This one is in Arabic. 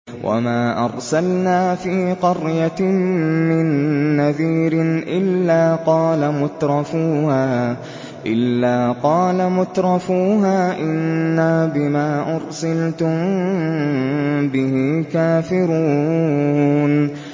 وَمَا أَرْسَلْنَا فِي قَرْيَةٍ مِّن نَّذِيرٍ إِلَّا قَالَ مُتْرَفُوهَا إِنَّا بِمَا أُرْسِلْتُم بِهِ كَافِرُونَ